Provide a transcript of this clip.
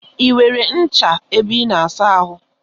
I nwere ncha ebe I na asa ahụ?